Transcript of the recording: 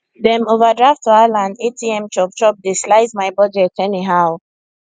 dem overdraft wahala and atm chopchop dey slice my budget anyhow